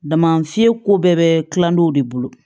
Dama fiyɛ ko bɛɛ bɛ kilan dɔw de bolo